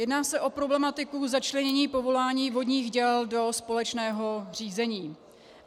Jedná se o problematiku začlenění povolování vodních děl do společného řízení.